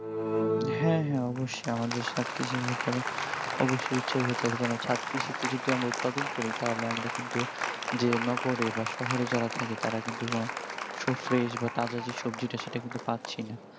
হ্যাঁ হ্যাঁ অবশ্যই আমাদের ছাদ কৃষির ব্যাপারে অবশ্যই উৎসাহী হতে হবে কেন না ছাদ কৃষিতে যদি আমরা উৎপাদন করি তাহলে আমরা কিন্তু যে নগরে বা শহরে যারা থাকে তারা কিন্তু সব fresh বা তাদের যে সবজিটা সেটা কিন্তু পাচ্ছি না